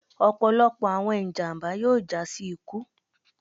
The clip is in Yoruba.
ọpọlọpọ awọn ijamba yoo ja si iku